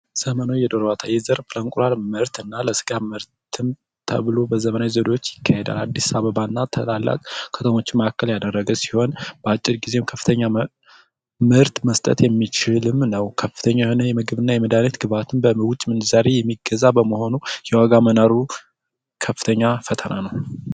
ዘመናዊ የዶሮ እርባታ ይህ ዘርፍ የእንቁላል ምርት እና ለስጋ ምርት ተብሎ በዘመናዊ መንገዶች ይካሄዳል በአዲስ አበባ እና በታላላቅ ከተሞች መካከል ያደረገ ሲሆን በአጭር ጊዜ ከፍተኛ ምርት መስጠትም የሚያስችል ነው። ከፍተኛ የሆነ የምግብ እና የመዳኒት ግብአትን በዉጭ ምንዛሬ የሚገዛ በመሆኑ የዋጋ መናሩ ከፍተኛ ፈተና ነው።